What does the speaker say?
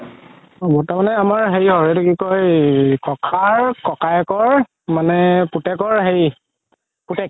বৰতা মানে আমাৰ হেৰি হয় আমাৰ এইটো কি কই ককাৰ ককায়েকৰ মানে পুতেকৰ হেৰি পুতেক